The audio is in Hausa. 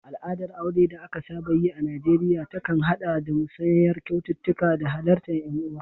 Al'adar aure da aka saba yi a Najeriya ta kan haɗa da musayar kyaututtuka da halartar ƴan uwa.